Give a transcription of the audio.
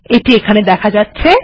এটি এখানে দেখা যাচ্ছে